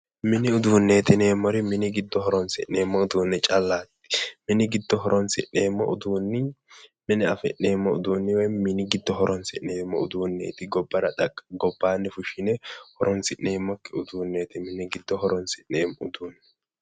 Mini uduunneeti yineemmori mini giddo horonsi'neemmo uduunne callaati mini giddo horonsi'neemmo uduunni mine afi'neemmo uduunni woyim mini giddo horonsi'neemmo uduunneeti. gobbara, gobbaanni fushshine horonsineemmokke uduunneeti. mini giddo horonsi'neemmo uduunneeti.